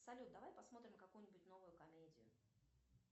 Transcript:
салют давай посмотрим какую нибудь новую комедию